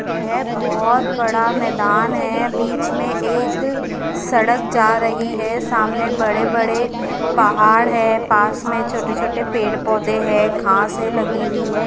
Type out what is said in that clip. येह बोहोत बड़ा मैदान है बिच में एक सड़क जा रही है सामने बड़े बड़े पहाड़ है पास में छोटे छोटे पेड़ पोधे है घासे लगी हुई है।